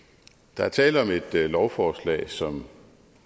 der er tale om et lovforslag som